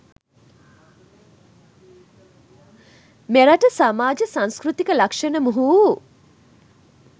මෙරට සමාජ සංස්කෘතික ලක්ෂණ මුහු වූ